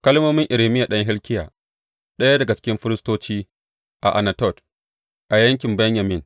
Kalmomin Irmiya ɗan Hilkiya, ɗaya daga cikin firistoci a Anatot a yankin Benyamin.